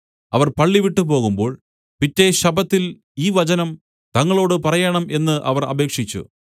അവർ പള്ളിവിട്ടു പോകുമ്പോൾ പിറ്റെ ശബ്ബത്തിൽ ഈ വചനം തങ്ങളോട് പറയേണം എന്ന് അവർ അപേക്ഷിച്ചു